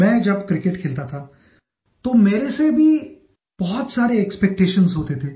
मैं जब क्रिकेट खेलता था तो मेरे से भी बहुत सारे एक्सपेक्टेशंस होते थे